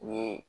Ni